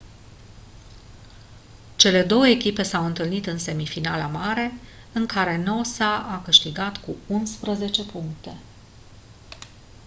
cele două echipe s-au întâlnit în semifinala mare în care noosa a câștigat cu 11 puncte